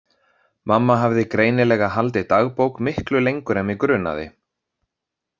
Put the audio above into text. Mamma hafði greinilega haldið dagbók miklu lengur en mig grunaði.